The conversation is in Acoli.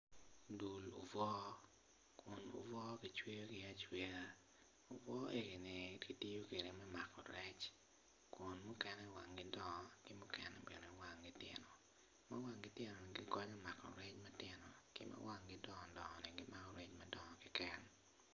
Dul obwo kun obwo ki cweyogi acweya obwo egini kitiyo kede me mako rec kun mukene wangi dongo kun mukene wangi tino ma wangi tinoni gikonyo me mako rec matino ki ma wangi dongo dongoni gimako rec madongo keken